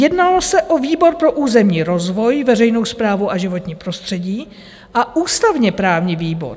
Jednalo se o výbor pro územní rozvoj, veřejnou správu a životní prostředí a ústavně-právní výbor.